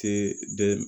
Te de